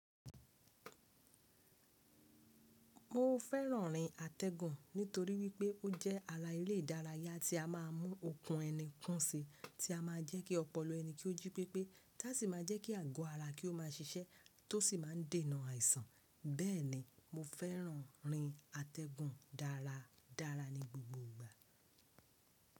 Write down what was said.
Mo fẹ́ràn rin atẹ́gùn nítorí wípé ó jẹ́ ara eré ìdárayá tí a máà mú okùn ẹni kún si, tí a máà jẹ́ kí ọpọlọ ẹni kí o jí pépé, tá sì máa jẹ́ kí àgọ́ ara kí o ma ṣiṣẹ́ tó sì máa ń dènà àìsàn. Bẹ́ẹ̀ni mo fẹ́ràn rin atẹ́gùn dára dára ní gbogbo ìgbà.